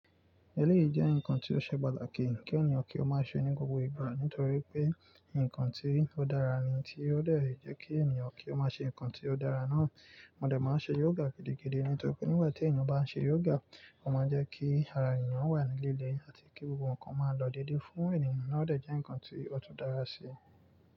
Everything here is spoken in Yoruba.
Eléyìí jẹ́ ǹkan tí ó ṣe pàtàkì kí ènìyàn kí ó má ṣe ní gbogbo ìgbà nítorí pé ǹkan tí ó dára ni tí ó dé è jẹ́ kí ènìyàn kí ó má ṣe ǹkan tí ó dára náà. Mó dẹ máa ṣe yoga gidigidi nítorí pé nígbà tí ènìyàn bá ń ṣe yoga, ó máa ń jẹ́ kí ara ènìyàn wà ní líle àti kí gbogbo ǹkan máa lọ dédé fún ènìyàn náà o dẹ jẹ́ ǹkan tí ó tún dára sí.